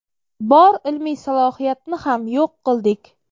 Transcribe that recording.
Bor ilmiy salohiyatni ham yo‘q qildik.